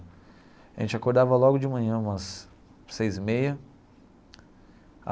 A gente acordava logo de manhã, umas seis e meia.